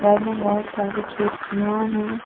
में बहुत सारी खिड़कियां हैं।